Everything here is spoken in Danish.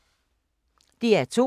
DR2